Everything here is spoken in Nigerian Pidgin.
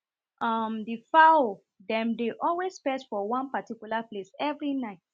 um the fowl dem dey always perch for one particular place every night